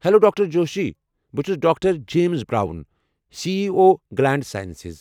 Hello doctor Joshi. بہٕ چھُس doctor James Brown, C E O Gilead Sciences.